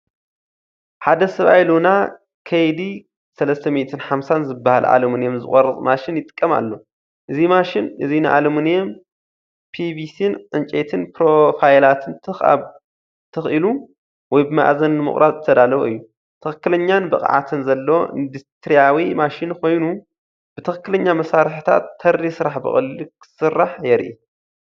ሓደ ሰብኣይ ሉና KD350 ዝበሃል ኣሉሚንየም ዝቖርጽ ማሽን ይጥቀም ኣሎ። እዚ ማሽን እዚ ንኣሉሚንየም፣ ፒቪሲን ዕንጨይትን ፕሮፋይላት ትኽ ኢሉ ወይ ብመኣዝን ንምቑራጽ ዝተዳለወ እዩ። ትኽክለኛን ብቕዓትን ዘለዎ ኢንዱስትርያዊ ማሽን ኮይኑ፡ ብትኽክለኛ መሳርሒታት፡ ተሪር ስራሕ ብቐሊሉ ክስራሕ የርኢ።